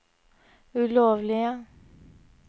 ulovlige